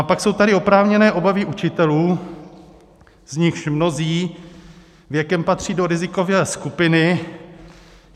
A pak jsou tady oprávněné obavy učitelů, z nichž mnozí věkem patří do rizikové skupiny.